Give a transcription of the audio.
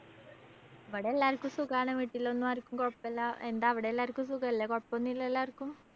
ഇബടെ എല്ലാര്‍ക്കും സുഖാണ്. വീട്ടിലൊന്നും ആര്‍ക്കും കൊഴപ്പല്ലാ. എന്താ അവടെല്ലാര്‍ക്കും സുഖല്ലേ? കൊഴപ്പോന്നുല്ലല്ലോ ആര്‍ക്കും?